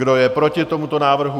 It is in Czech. Kdo je proti tomuto návrhu?